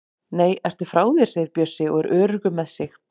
Nei, ertu frá þér! segir Bjössi og er öruggur með sig.